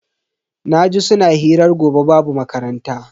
Naji suna hirar gobe babu makaranta.